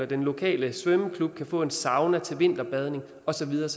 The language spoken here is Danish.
den lokale svømmeklub kan få en sauna til vinterbadning og så videre